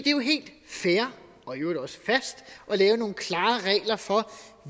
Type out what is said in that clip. er jo helt fair og i øvrigt også fast at lave nogle klare regler for